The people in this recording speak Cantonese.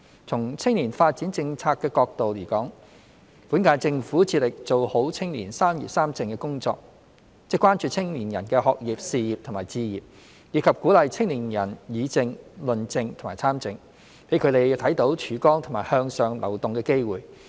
從青年發展政策的角度而言，本屆政府致力做好青年"三業三政"工作，即關注青年人的學業、事業和置業，以及鼓勵青年人議政、論政和參政，讓他們看到曙光和向上流動的機會。